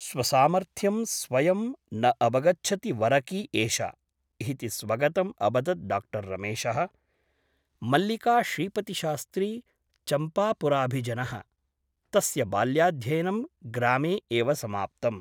स्वसामर्थ्यं स्वयं न अवगच्छति वरकी एषा ' इति स्वगतम् अवदत् डा रमेशः । मल्लिका श्रीपतिशास्त्री चम्पापुराभिजनः । तस्य बाल्याध्ययनं ग्रामे एव समाप्तम् ।